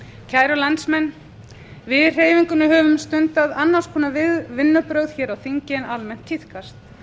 kæra landsmenn við í hreyfingunni höfum stundað annars konar vinnubrögð hér á þingi en almennt tíðkast